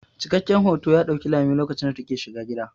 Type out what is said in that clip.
Cikakken hoto ya ɗauki lami lokacin da ta ke shiga gida.